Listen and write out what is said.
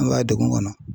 An ka degun kɔnɔ